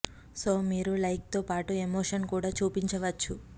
so మీరు like తో పాటు ఎమోషన్ కూడా చూపించ వచ్చు